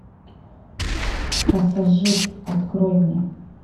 пассажир открой мне